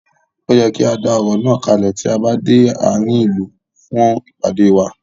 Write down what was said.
Ó yẹ kí á dá ọ̀rọ̀ náà kalẹ̀ tí a bá dé àárín ìlú fún ìpàdé wa.